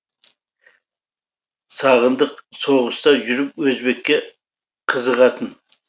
сағындық соғыста жүріп өзбекке қызығатын